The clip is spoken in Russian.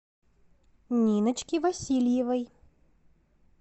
ниночке васильевой